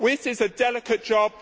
This is a delicate job